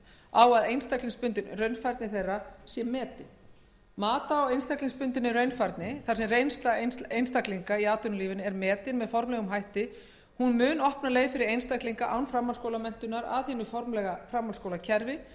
að einstaklingsbundin raunfærni þeirra sé metin mat á einstaklingsbundinni raunfærni þar sem reynsla einstaklinga í atvinnulífinu er metin með formlegum hætti mun opna leið fyrir einstaklinga án framhaldsskólamenntunar að hinu formlega framhaldsskólakerfi